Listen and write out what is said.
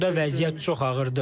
Orda vəziyyət çox ağırdır.